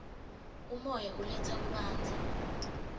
umoya uletsa kubanza